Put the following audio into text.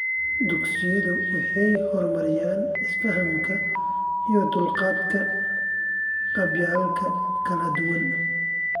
Dugsiyadu waxay horumariyaan isfahamka iyo dulqaadka qabaa'ilka kala duwan.